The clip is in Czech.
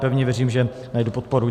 Pevně věřím, že najdu podporu.